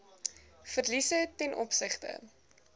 verliese ten opsigte